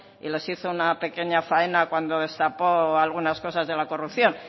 y les hizo una pequeña faena cuando destapó algunas cosas de la corrupción